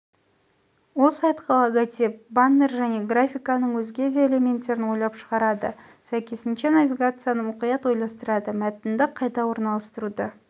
ол сайтқа логотип баннер және графиканың өзге де элементтерін ойлап шығарады сай йынша навигацияны мұқият ойластырады мәтінді қайда орналастыруды